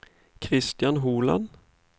Christian Holand